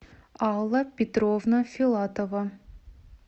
алла петровна филатова